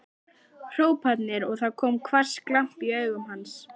hrópanir og það kom hvass glampi í augu hans.